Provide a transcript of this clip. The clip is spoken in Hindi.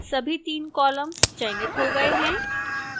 सभी 3 columns चयनित हो all हैं